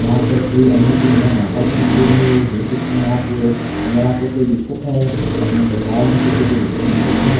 यहां पर श्री अन्नपूर्णा माता की मंदिर है ये देख सकते हैं आप लोग अगर आपको कोई दिक्कत है अपने परिवार में कुछ दिक्कत है।